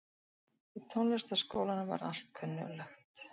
Í Tónlistarskólanum var allt kunnuglegt.